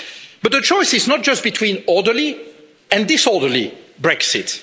But the choice is not just between orderly and disorderly Brexit.